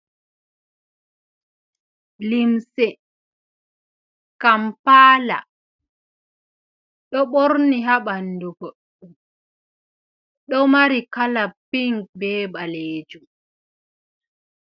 Limse kampaala, ɗo ɓorni haa ɓanndu goɗɗo, ɗo mari kala ping, be ɓaleejum.